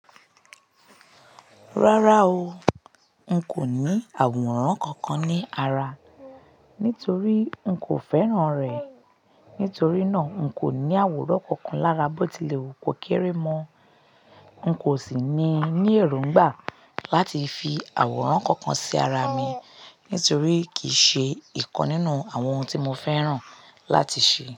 Rárá o, n kò ní àwòrán kankan ní ara, nítorí n kò fẹ́ràn rẹ̀. Nítorí náà, n kò ní àwòrán kankan lára bọ́tílẹ̀wu ko kẹ́rẹ́ mọ́. N kò sì ní ní èróngbà láti fi àwòrán kankan sí ara mi nítorí kì í ṣe nǹkan nínú àwọn ohun tí mo fẹ́ràn láti ṣe.